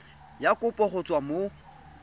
ya kopo go tswa mo